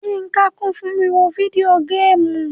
Yínká kun fun wiwo video games: